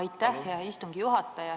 Aitäh, hea istungi juhataja!